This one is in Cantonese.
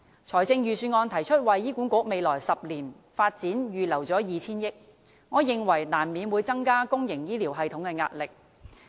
財政預算案提出為醫管局未來10年發展預留 2,000 億元，我認為難免會增加公營醫療系統的壓力。